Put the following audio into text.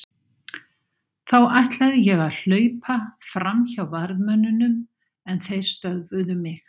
Þá ætlaði ég að hlaupa fram hjá varðmönnunum en þeir stöðvuðu mig.